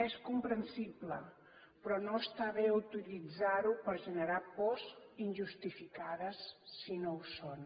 és comprensible però no està bé utilitzar ho per generar pors injustificades si no ho són